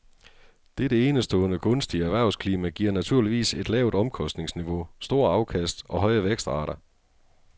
Dette enestående gunstige erhvervsklima giver naturligvis et lavt omkostningsniveau, store afkast og høje vækstrater.